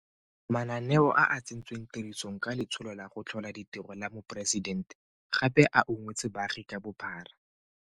Mananeo a a tsentsweng tirisong ka Letsholo la go Tlhola Ditiro la Moporesidente gape a ungwetse baagi ka bophara.